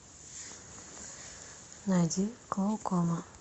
найди клоукома